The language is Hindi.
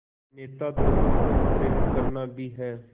नेता दोनों को प्रेरित करना भी है